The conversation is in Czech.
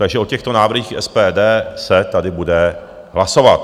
Takže o těchto návrzích SPD se tady bude hlasovat.